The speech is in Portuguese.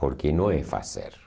Porque não é fazer.